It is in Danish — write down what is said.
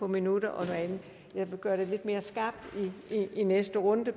minutterne jeg vil gøre det lidt mere skarpt i næste runde